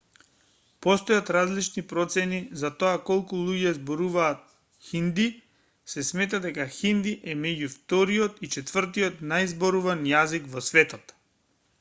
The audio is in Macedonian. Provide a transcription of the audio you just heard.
постојат различни процени за тоа колку луѓе зборуваат хинди се смета дека хинди е меѓу вториот и четвртиот најзборуван јазик во светот